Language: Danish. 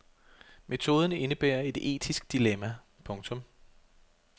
Metoden indebærer et etisk dilemma. punktum